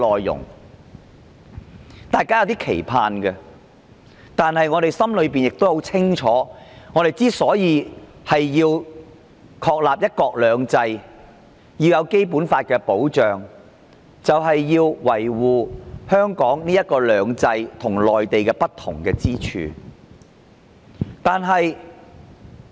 然而，我們心裏很清楚，要確立"一國兩制"、要得到《基本法》的保障，就要維護香港"兩制"與內地的不同之處。